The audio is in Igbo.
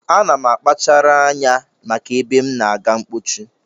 Ana m akpachara anya maka ebe m na-aga mkpochi